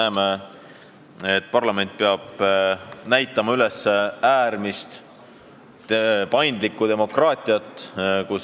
Eile pidi parlament üles näitama äärmiselt paindlikku tegutsemist.